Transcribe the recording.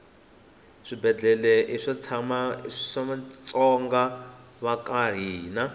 shibhelana ishamatsonga vakahhina